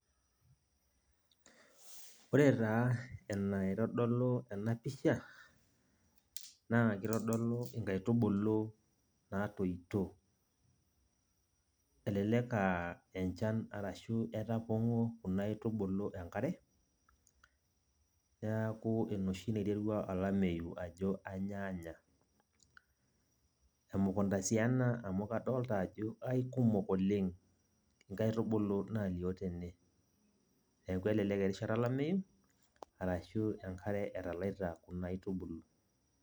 Ore taa enaitodolu enapisha, naa kitodolu inkaitubulu natoito. Elelek ah enchan arashu etapong'o kuna aitubulu enkare, neeku enoshi naiterua olameyu ajo anyaanya. Emukunda si ena amu kadolta ajo aikumok oleng inkaitubulu nalio tene. Neeku elelek erishata olameyu, arashu enkare etalaita kuna aitubulu.